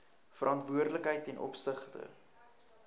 verantwoordelikheid ten opsigte